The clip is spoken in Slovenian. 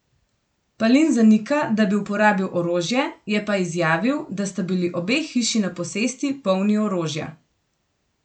Palin zanika, da bi uporabil orožje, je pa izjavil, da sta bili obe hiši na posesti polni orožja.